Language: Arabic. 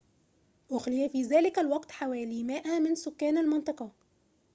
أُخلي في ذلك الوقت حوالي 100 من سكان المنطقة